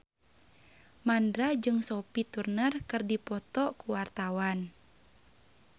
Mandra jeung Sophie Turner keur dipoto ku wartawan